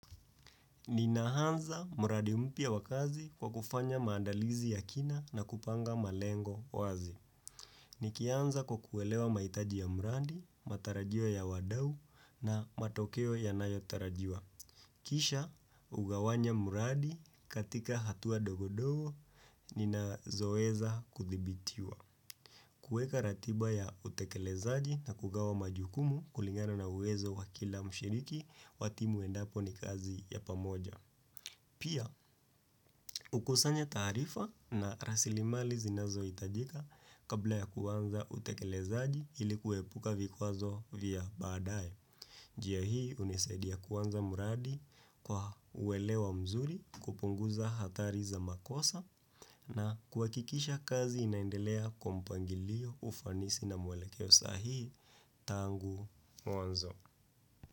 Ninaanza muradi mpya wa kazi kwa kufanya maandalizi ya kina na kupanga malengo wazi. Nikianza kwa kuelewa mahitaji ya muradi, matarajio ya wadau na matokeo yanayotarajiwa. Kisha ugawanya muradi katika hatua ndogondogo ninazoeza kudhibitiwa. Kueka ratiba ya utekelezaji na kugawa majukumu kulingana na uwezo wa kila mshiriki wa timu endapo ni kazi ya pamoja. Pia, hukusanya taarifa na rasilimali zinazoitajika kabla ya kuanza utekelezaji ili kuepuka vikwazo vya baadaye. Njia hii unisaidia kuanza muradi kwa uelewa mzuri kupunguza hatari za makosa na kuakikisha kazi inaendelea kwa mpangilio ufanisi na mwelekeo sahihi tangu mwanzo.